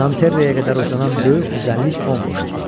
Nanterreə qədər uzanan böyük düzənlik bomboş idi.